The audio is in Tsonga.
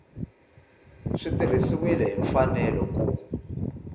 swi tirhisiwile hi mfanelo ku